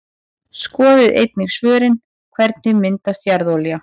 Skoðið einnig svörin: Hvernig myndast jarðolía?